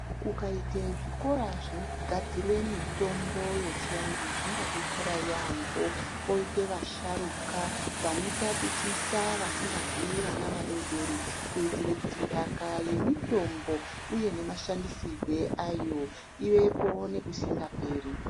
Kukaite zvikora zvinogadzire mitombo yechivantu zvinga detsera yambo , koite vasharuka , vanotatichisa vazingazii vana vadodori kuitire kuti ndaka yemitombo uye nemashandisirwe ayo ivepo nekusingaperi.